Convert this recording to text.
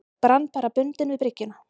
Brann bara bundinn við bryggjuna.